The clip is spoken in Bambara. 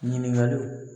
Ɲininkaliw